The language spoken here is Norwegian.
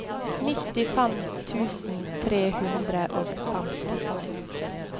nittifem tusen tre hundre og femtifem